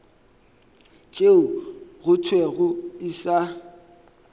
tšeo go thwego e sa